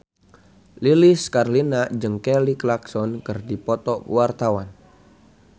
Lilis Karlina jeung Kelly Clarkson keur dipoto ku wartawan